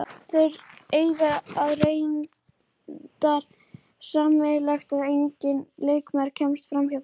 Þeir eiga það reyndar sameiginlegt að enginn leikmaður kemst framhjá þeim.